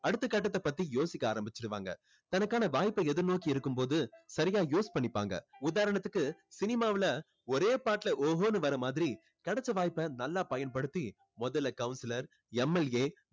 அடுத்த கட்டத்தை பத்தி யோசிக்க ஆரம்பிச்சுடுவாங்க. தனக்கான வாய்ப்பை எதிர்நோக்கி இருக்கும்போது சரியா use பண்ணிப்பாங்க. உதாரணத்துக்கு cinema வுல ஒரே பாட்டுல ஓஹோன்னு வர்ற மாதிரி கிடைச்ச வாய்ப்ப நல்லா பயன்படுத்தி முதல்ல councilor MLA